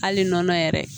Hali nɔnɔ yɛrɛ